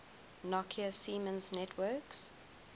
nokia siemens networks